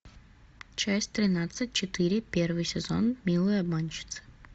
часть тринадцать четыре первый сезон милые обманщицы